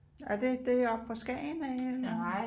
Er det det oppe fra Skagen af eller